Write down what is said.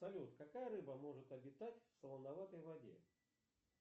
салют какая рыба может обитать в солоноватой воде